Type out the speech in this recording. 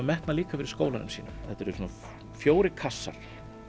metnað líka fyrir skólanum sínum þetta eru svona fjórir kassar